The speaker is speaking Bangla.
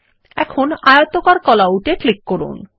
এখন আয়তকার কল আউট এ ক্লিক করুন